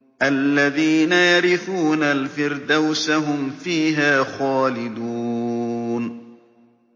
الَّذِينَ يَرِثُونَ الْفِرْدَوْسَ هُمْ فِيهَا خَالِدُونَ